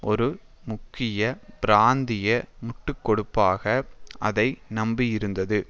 ஒரு முக்கிய பிராந்திய முண்டுக்கொடுப்பாக அதை நம்பியிருந்தது